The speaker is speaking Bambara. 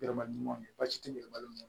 Yɛlɛmali ɲumanw de ye basi ti yɛlɛma